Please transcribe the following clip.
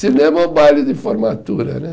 Cinema ou baile de formatura, né?